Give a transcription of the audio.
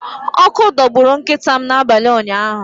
Ọkụ dọgburu nkịta m n’abalị ụnyaahụ.